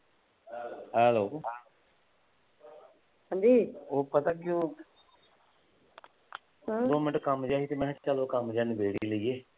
Hello ਹਾਂਜੀ ਓਹ ਪਤਾ ਕੀ ਉਹ ਦੋ ਮਿੰਟ ਕੰਮ ਜਿਹਾ ਸੀ ਤੇ ਮੈਂ ਕਿਹਾ ਚੱਲ ਕੰਮ ਨਿਬੇੜ ਹੀ ਲਈਏ।